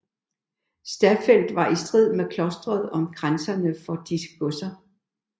Staffeldt var i strid med klostret om grænserne om disse godser